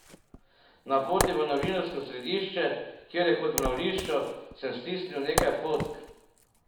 Na poti v novinarsko središče, kjer je kot v mravljišču, sem stisnil nekaj fotk.